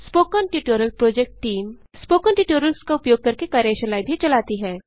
spoken tutorial project team spoken tutorials का उपयोग करके कार्यशालाएँ भी चलाती है